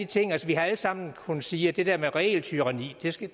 ting altså vi har alle sammen kunnet sige at det der med regeltyranni